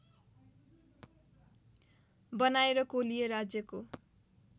बनाएर कोलीय राज्यको